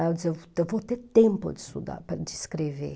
Aí eu disse, eu eu vou ter tempo de estudar, de escrever.